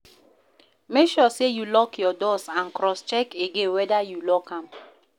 Make sure say you lock your doors and cross-check again whether you lock am